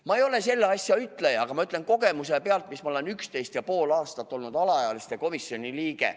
Ma ei ole selles asjas ütleja, aga ma olen 11,5 aastat olnud alaealiste komisjoni liige.